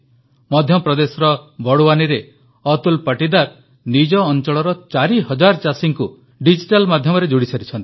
ମଧ୍ୟପ୍ରଦେଶର ବଡ଼ୱାନୀରେ ଅତୁଲ ପାଟୀଦାର ନିଜ ଅଂଚଳର 4 ହଜାର ଚାଷୀଙ୍କୁ ଡିଜିଟାଲ ମାଧ୍ୟମରେ ଯୋଡ଼ିସାରିଛନ୍ତି